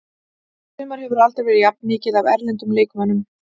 Í sumar hefur aldrei verið jafn mikið af erlendum leikmönnum.